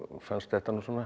fannst þetta svona